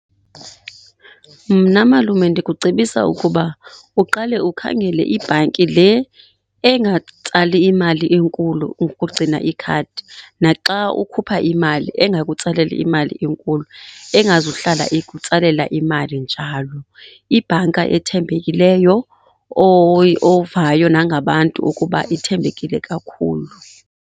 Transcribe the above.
Mna malume ndikucebisa ukuba uqale ukhangele ibhanki le engatsali imali enkulu ngokugcina ikhadi, naxa ukhupha imali engakutsaleli imali enkulu, engazuhlala ikutsalela imali njalo. Ibhanka ethembekileyo , ovayo nangabantu ukuba ithembekile kakhulu.